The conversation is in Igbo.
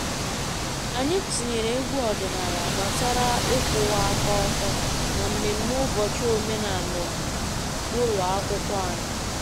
Anyị tinyere egwu ọdịnala gbasara ịkwụwa aka ọtọ na mmemme ụbọchị omenala ụlọ akwụkwọ anyị